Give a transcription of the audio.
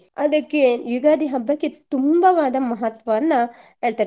ಅದಕ್ಕೆ ಯುಗಾದಿ ಹಬ್ಬಕ್ಕೆ ತುಂಬವಾದ ಮಹತ್ವವನ್ನ ಹೇಳ್ತಾರೆ.